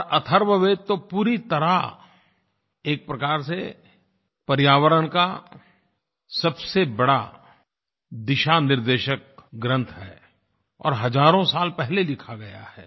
और अथर्ववेद तो पूरी तरह एक प्रकार से पर्यावरण का सबसे बड़ा दिशानिर्देशक ग्रंथ है और हज़ारों साल पहले लिखा गया है